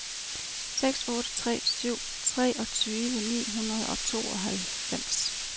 seks otte tre syv treogtyve ni hundrede og tooghalvfems